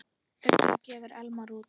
Ugla gefur Elmar út.